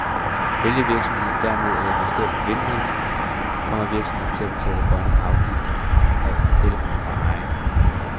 Vælger virksomheden derimod at investere i en vindmølle, kommer virksomheden til at betale grøn afgift af el fra sin egen mølle.